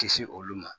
Kisi olu ma